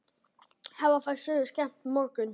Hafa þær sögur skemmt mörgum.